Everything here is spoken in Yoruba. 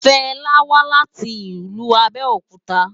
Fela wá láti ilú Abeokuta